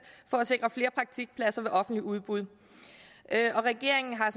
for at sikre flere praktikpladser ved offentligt udbud og regeringen har